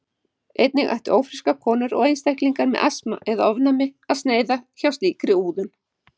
Einnig ættu ófrískar konur og einstaklingar með asma eða ofnæmi að sneiða hjá slíkri úðun.